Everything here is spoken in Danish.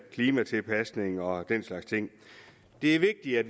klimatilpasning og den slags ting det er vigtigt at